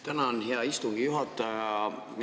Tänan, hea istungi juhataja!